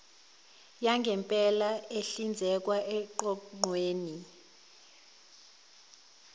yangempela ehlinzekwa eqoqweni